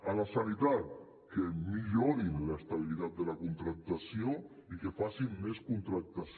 a la sanitat que millorin l’estabilitat de la contractació i que facin més contractació